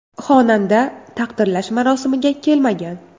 Xonanda taqdirlash marosimiga kelmagan.